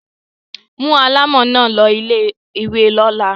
Mú alámọ̀ náà lọ ilé-ìwé lọ́la.